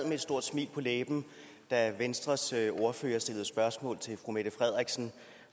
med et stort smil på læben da venstres ordfører stillede spørgsmål til fru mette frederiksen